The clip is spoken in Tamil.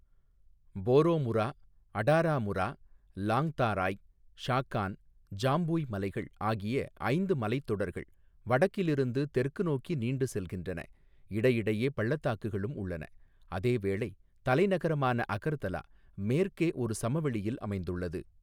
போரோமுரா, அடாராமுரா, லாங்தாராய், ஷாகான், ஜாம்புய் மலைகள் ஆகிய ஐந்து மலைத்தொடர்கள் வடக்கிலிருந்து தெற்கு நோக்கி நீண்டுசெல்கின்றன, இடையிடையே பள்ளத்தாக்குகளும் உள்ளன, அதேவேளை தலைநகரமான அகர்தலா மேற்கே ஒரு சமவெளியில் அமைந்துள்ளது.